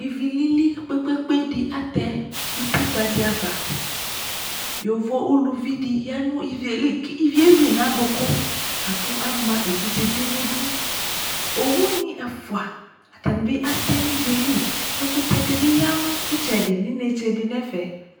Ivi lili kpe-kpe-kpe dɩ atɛ utikpǝ dɩ ava Yovo uluvi dɩ ya nʋ ivi yɛ li kʋ ivi yɛ eyui yɩ nʋ adʋkʋ la kʋ ama evidze bɩ nʋ idu Owunɩ ɛfʋa, atanɩ bɩ atɛ nʋ ivi yɛ li Ɛkʋtɛ dɩ bɩ ya nʋ ɩtsɛdɩ nʋ inetse dɩ nʋ ɛfɛ